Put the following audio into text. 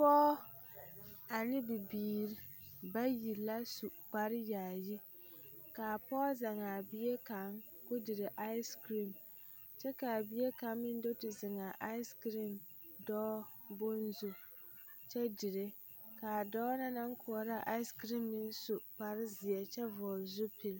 Pɔge ane bibiiri baui la su kparr yaayi k,a pɔge zeŋ a bie kaŋ k,o dire asekirim kyɛ k,a bie kaŋ meŋ do te zeŋ a asekirim dɔɔ bone zu kyɛ dire k,a dɔɔ na naŋ koɔraa asekirim meŋ su kparezeɛ kyɛ vɔgle zupili.